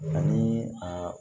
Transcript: Ani a